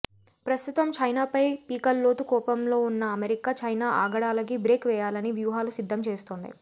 ప్రస్తుతం చైనా పై పీకల్లోతు కోపంలో ఉన్న అమెరికా చైనా ఆగడాలకి బ్రేక్ వేయాలని వ్యుహాలు సిద్దం చేస్తోంది